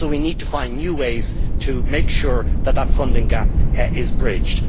So we need to find new ways to make sure that that funding gap is bridged.